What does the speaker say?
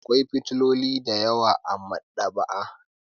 Akwai fefofi da yawa a maɗaba'a.